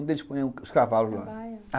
Onde eles ponham os cavalos lá? baia?